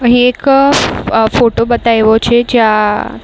અહીં એક અ અ ફોટો બતાઇવો છે જ્યાં --